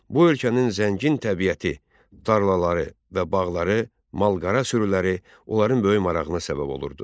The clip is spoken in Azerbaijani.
Bu ölkənin zəngin təbiəti, tarlaları və bağları, malqara sürüləri onların böyük marağına səbəb olurdu.